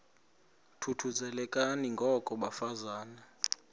thuthuzelekani ngoko bafazana